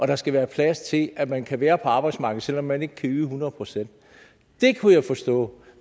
der skal være plads til at man kan være på arbejdsmarkedet selv om man ikke kan yde hundrede procent dét kunne jeg forstå